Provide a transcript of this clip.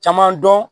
Caman dɔn